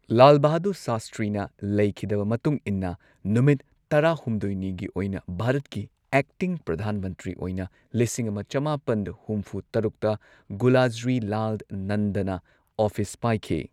ꯂꯥꯜ ꯕꯍꯥꯗꯨꯔ ꯁꯥꯁꯇ꯭ꯔꯤꯅ ꯂꯩꯈꯤꯗꯕ ꯃꯇꯨꯡ ꯏꯟꯅ ꯅꯨꯃꯤꯠ ꯇꯔꯥꯍꯨꯝꯗꯣꯏꯅꯤꯒꯤ ꯑꯣꯏꯅ ꯚꯥꯔꯠꯀꯤ ꯑꯦꯛꯇꯤꯡ ꯄ꯭ꯔꯙꯥꯟ ꯃꯟꯇ꯭ꯔꯤ ꯑꯣꯏꯅ ꯂꯤꯁꯤꯡ ꯑꯃ ꯆꯃꯥꯄꯟ ꯍꯨꯝꯐꯨ ꯇꯔꯨꯛꯇ ꯒꯨꯂꯖꯔꯤꯂꯥꯜ ꯅꯟꯗꯅ ꯑꯣꯐꯤꯁ ꯄꯥꯏꯈꯤ꯫